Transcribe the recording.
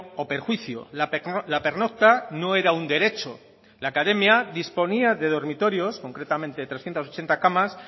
o perjuicio la pernocta no era un derecho la academia disponía de dormitorios concretamente trescientos ochenta camas